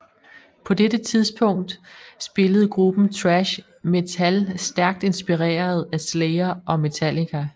På dette tidlige tidspunkt spillede gruppen thrash metal stærkt inspireret af Slayer og Metallica